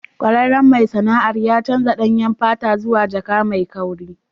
Kwararren mai sana'ar ya canza danyen fata zuwa jaka mai kauri.